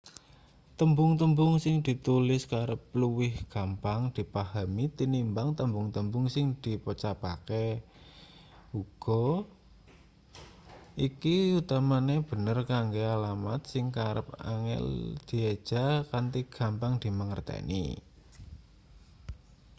tembung-tembung sing ditulis kerep luwih gampang dipahami tinimbang tembung-tembung sing dipocapake uga iki utamane bener kanggo alamat sing kerep angel dieja kanthi gampang dimangerteni